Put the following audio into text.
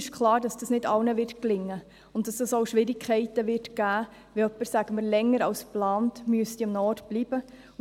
Uns ist klar, dass dies nicht allen gelingen wird und dass es auch Schwierigkeiten geben wird, wenn jemand, sagen wir, länger als geplant an einem Ort bleiben muss.